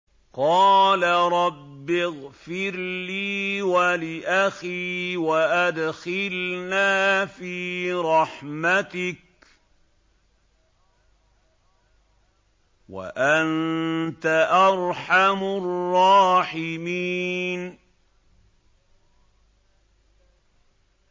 قَالَ رَبِّ اغْفِرْ لِي وَلِأَخِي وَأَدْخِلْنَا فِي رَحْمَتِكَ ۖ وَأَنتَ أَرْحَمُ الرَّاحِمِينَ